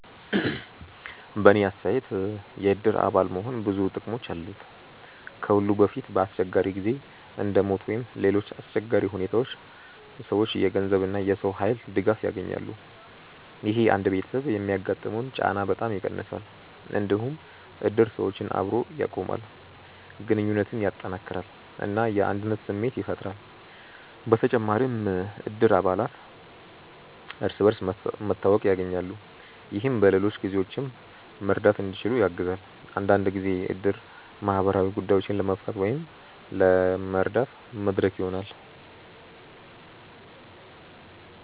በእኔ አስተያየት የእድር አባል መሆን ብዙ ጥቅሞች አሉት። ከሁሉ በፊት በአስቸጋሪ ጊዜ እንደ ሞት ወይም ሌሎች አሰቸጋሪ ሁኔታዎች ሰዎች የገንዘብ እና የሰው ኃይል ድጋፍ ያገኛሉ። ይህ አንድ ቤተሰብ የሚያጋጥመውን ጫና በጣም ይቀንሳል። እንዲሁም እድር ሰዎችን አብሮ ያቆማል፣ ግንኙነትን ያጠናክራል እና የአንድነት ስሜት ያፈጥራል። በተጨማሪም እድር አባላት እርስ በርስ መተዋወቅ ያገኛሉ፣ ይህም በሌሎች ጊዜዎችም መርዳት እንዲችሉ ያግዛል። አንዳንድ ጊዜ እድር ማህበራዊ ጉዳዮችን ለመፍታት ወይም ለመረዳት መድረክ ይሆናል።